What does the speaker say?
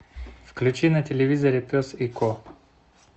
включи на телевизоре пес и ко